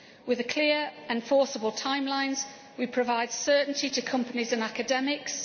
with clear and forcible timelines we provide certainty to companies and academics